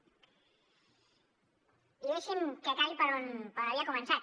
i deixin me que acabi per on havia començat